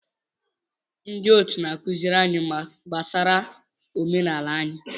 Ndị otu na-akụziri anyị gbasara omenala anyị.